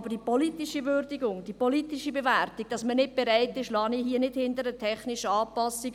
Aber die politische Würdigung, die politische Bewertung, wonach man nicht bereit ist, lasse ich nicht aufgrund der technischen Anpassung